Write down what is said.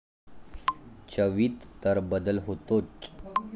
चवीत तर बदल होतोच.